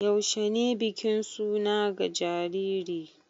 Yaushe ne bikin suna ga jariri?